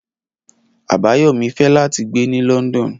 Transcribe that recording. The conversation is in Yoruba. Abayomi fẹ lati gbe ni London